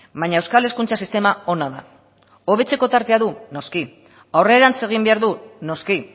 baina euskal hezkuntza sistema ona da hobetzeko tartea du noski aurrerantz egin behar du noski